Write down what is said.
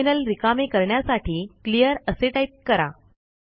terminal रिकामे करण्यासाठी clear असे टाईप करा